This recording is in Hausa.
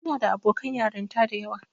Ina da abokan yarinta da yawa.